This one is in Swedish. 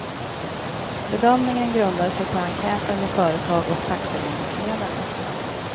Bedömningen grundar sig på enkäter med företag och fackföreningsledare.